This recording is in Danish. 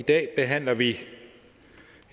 i dag behandler vi et